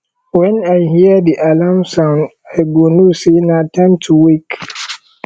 wen i hear di alarm sound i go know sey na time to wake